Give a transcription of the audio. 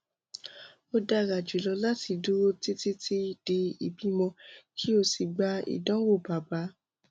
o dara julọ lati duro titi titi di ibimọ ki o si gba idanwo baba